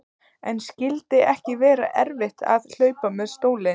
En skyldi ekki vera erfitt að hlaupa með stólinn?